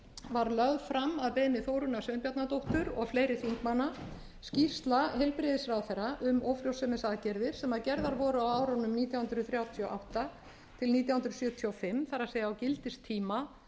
var lögð fram að beiðni þórunnar sveinbjarnardóttur og fleiri þingmanna skýrsla heilbrigðisráðherra um ófrjósemisaðgerðir sem gerðar voru á árunum nítján hundruð þrjátíu og átta til nítján hundruð sjötíu og fimm það er á gildistíma